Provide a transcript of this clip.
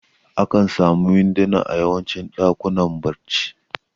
Akan samu winduna a yawancin ɗakunan barci